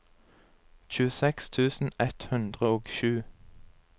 tjueseks tusen ett hundre og sju